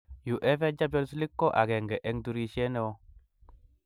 UEFA Champions League ko akenge eng turishe ne oo .